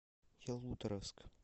ялуторовск